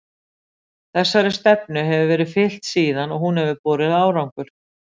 Þessari stefnu hefur verið fylgt síðan og hún hefur borið árangur.